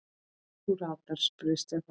Þú ratar? spurði Stefán.